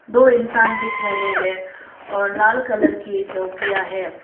दो इंसान दिख रहे हैं और लाल कलर की झोपड़ियां है।